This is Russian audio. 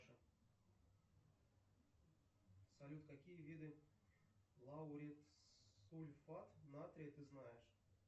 салют какие виды лауретсульфат натрия ты знаешь